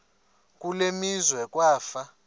kule meazwe kwafa